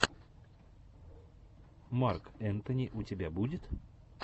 марк энтони у тебя будет